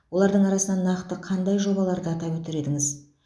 олардың арасынан нақты қандай жобаларды атап өтер едіңіз